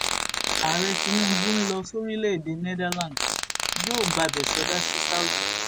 ààrẹ tinubu ń lọ sórílédéé netherlands yóò gbabẹ sọdá sí saudi